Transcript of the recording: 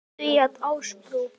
því að Ásbrú